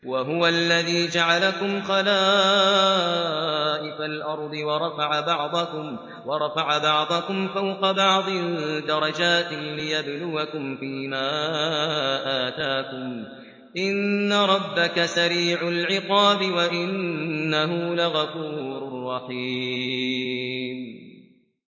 وَهُوَ الَّذِي جَعَلَكُمْ خَلَائِفَ الْأَرْضِ وَرَفَعَ بَعْضَكُمْ فَوْقَ بَعْضٍ دَرَجَاتٍ لِّيَبْلُوَكُمْ فِي مَا آتَاكُمْ ۗ إِنَّ رَبَّكَ سَرِيعُ الْعِقَابِ وَإِنَّهُ لَغَفُورٌ رَّحِيمٌ